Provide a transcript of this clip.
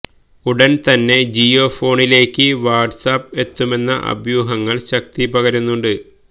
ഉടൻ തന്നെ ജിയോ ഫോണിലേക്ക് വാട്സാപ്പ് എത്തുമെന്ന അഭ്യൂഹങ്ങൾക്ക് ശക്തിപകരുന്നുണ്ട്